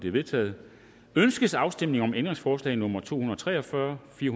er vedtaget ønskes afstemning om ændringsforslag nummer to hundrede og tre og fyrre fire